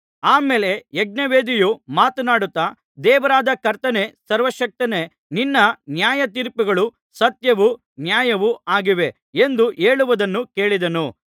ಆ ಮೇಲೆ ಯಜ್ಞವೇದಿಯು ಮಾತನಾಡುತ್ತಾ ದೇವರಾದ ಕರ್ತನೇ ಸರ್ವಶಕ್ತನೇ ನಿನ್ನ ನ್ಯಾಯತೀರ್ಪುಗಳು ಸತ್ಯವೂ ನ್ಯಾಯವೂ ಆಗಿವೆ ಎಂದು ಹೇಳುವುದನ್ನು ಕೇಳಿದೆನು